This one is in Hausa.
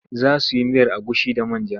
Za su yi miyar agushi da man ja.